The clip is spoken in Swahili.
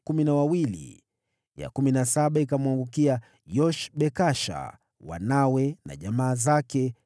ya kumi na saba ikamwangukia Yoshbekasha, wanawe na jamaa zake, 12